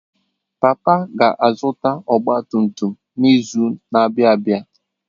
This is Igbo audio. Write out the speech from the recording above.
Papa ga zụta ọgba tum tum n'izu na abịa abịa.